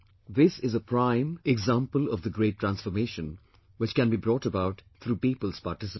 This is a prime example of the great transformation, which can be brought about through people's participation